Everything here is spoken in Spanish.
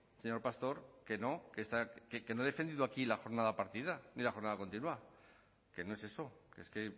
señor pastor que no que no he defendido aquí la jornada partida ni la jornada continua que no es eso es que